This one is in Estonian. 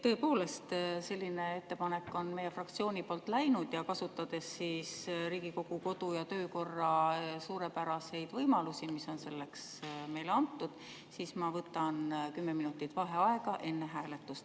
Tõepoolest on selline ettepanek meie fraktsiooni poolt tehtud ja kasutades Riigikogu kodu- ja töökorra suurepäraseid võimalusi, mis on meile antud, võtan ma kümme minutit vaheaega enne hääletust.